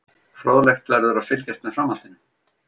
Fróðlegt verður að fylgjast með framhaldinu.